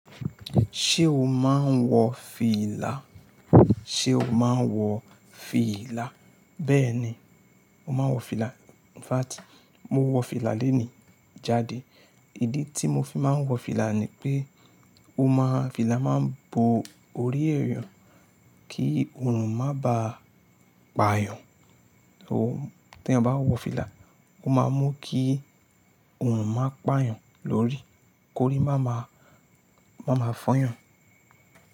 Ṣé o máa ń wọ fìlà? Ṣé o máa ń wọ fìlà? Bẹ́ẹ̀ni, mo máa ń wọ fìlà. In fact, mo wọ fìlà lónìí jáde. Ìdí tí mo fi máa ń wọ fìlà ni pé ó má, fìlà máa ń bo orí èèyàn kí oòrùn má ba pà yàn. Tí ẹ bá wọ fìlà, ó máa mú kí oòrùn má pà yàn lórí, kó rí má máa fọ́yàn.